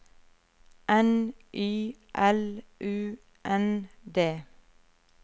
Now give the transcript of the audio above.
N Y L U N D